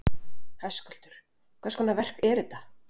Höskuldur: Hvers konar verk eru þetta?